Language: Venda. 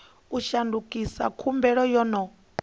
u shandukisa khumbelo yo no